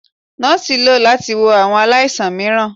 Nọọsi lọ lati wo awọn alaisan miiran